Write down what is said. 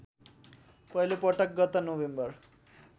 पहिलोपटक गत नोभेम्बर